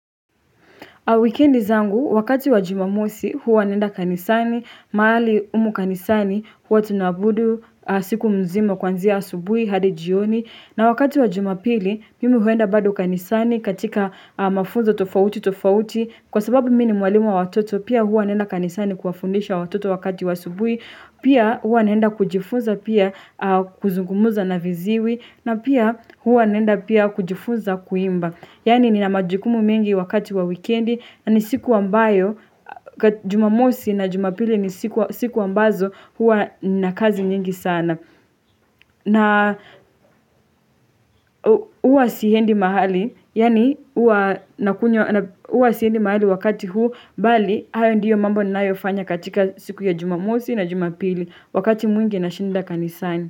Wikendi zangu wakati wa jumamosi huwa nenda kanisani, mahali umu kanisani huwa tunabudu siku mzima kwanzia asubuhi hadi jioni na wakati wa Jumapili mimi huenda bado kanisani katika mafunzo tofauti tofauti kwa sababu mini mwalimu wa watoto pia huwa naenda kanisani kuwafundisha watoto wakati wa asubui pia huwa nenda kujifunza pia kuzungumuza na viziwi na pia huwa nenda pia kujifunza kuimba. Yani nina majukumu mengi wakati wa wikendi na ni siku ambayo Jumamosi na Jumapili ni siku ambazo hua nina kazi nyingi sana. Na hua siendi mahali, yani hua siendi mahali wakati huu, mbali hayo ndiyo mambo ninayoifanya katika siku ya jumamosi na jumapili wakati mwingi nashinda kanisani.